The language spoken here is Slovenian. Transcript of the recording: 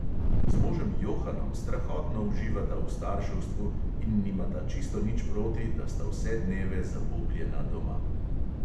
Z možem johanom strahotno uživata v starševstvu in nimata čisto nič proti, da sta vse dneve zabubljena doma.